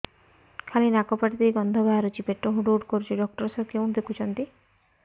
ଖାଲି ନାକ ପାଟି ଦେଇ ଗଂଧ ବାହାରୁଛି ପେଟ ହୁଡ଼ୁ ହୁଡ଼ୁ କରୁଛି ଡକ୍ଟର ସାର କେଉଁଠି ଦେଖୁଛନ୍ତ